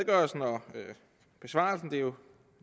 og besvarelsen det er jo